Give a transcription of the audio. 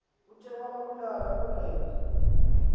ukhe wababulala kunene